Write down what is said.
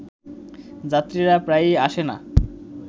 যাত্রীরা প্রায়ই আসে না